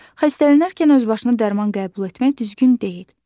Xəstələnərkən özbaşına dərman qəbul etmək düzgün deyil.